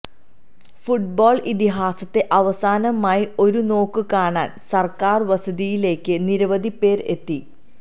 football ഇതിഹാസത്തെ അവസാനമായി ഒരുനോക്ക് കാണാൻ സർക്കാർ വസതിയിലേക്ക് നിരവധി പേർ എത്തി